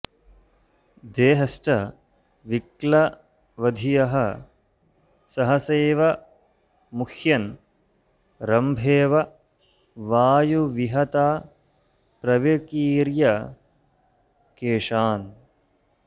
देहश्च विक्लवधियः सहसैव मुह्यन् रम्भेव वायुविहता प्रविकीर्य केशान्